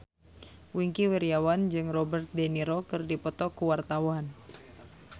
Wingky Wiryawan jeung Robert de Niro keur dipoto ku wartawan